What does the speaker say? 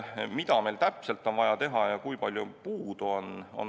Mida meil täpselt on vaja teha ja kui palju on puudu?